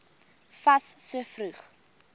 fas so vroeg